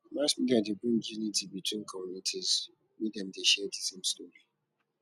mass media de bring unity between communities when dem de share di same story